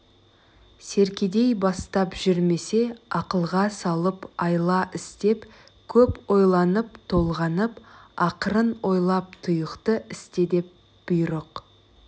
серкедей бастап жүрмесе ақылға салып айла істеп көп ойланып толғанып ақырын ойлап тұйықты істе деп бұйрық